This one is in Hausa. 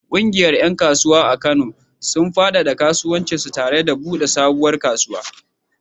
Ƙungiyar ƴan kasuwa a Kano, sun faɗaɗa kasuwancinsu tare da buɗe sabuwar kasuwa.